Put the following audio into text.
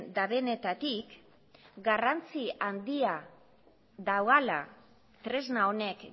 dutenetatik garrantzi handia duela tresna honek